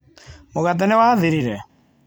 Mũgate nĩ wathirire?